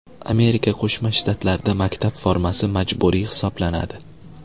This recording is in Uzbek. Amerika Qo‘shma Shtatlarida maktab formasi majburiy hisoblanadi.